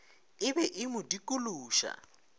e be e mo dikološa